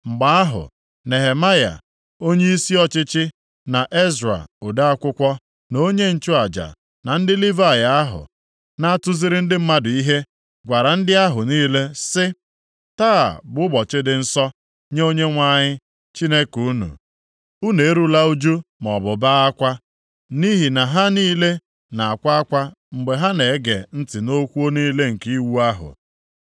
Mgbe ahụ, Nehemaya, onyeisi ọchịchị, na Ezra, ode akwụkwọ na onye nchụaja, na ndị Livayị ahụ na-atụziri ndị mmadụ ihe, gwara ndị ahụ niile sị: “Taa bụ ụbọchị dị nsọ nye Onyenwe anyị, Chineke unu. Unu erula ụjụ maọbụ bee akwa.” Nʼihi na ha niile na-akwa akwa mgbe ha na-ege ntị nʼokwu niile nke iwu ahụ.